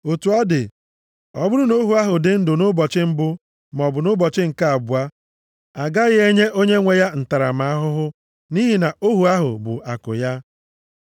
Otu ọ dị, ọ bụrụ na ohu ahụ dị ndụ nʼụbọchị mbụ, maọbụ nʼụbọchị nke abụọ, a gaghị enye onyenwe ya ntaramahụhụ nʼihi na ohu ahụ bụ akụ ya.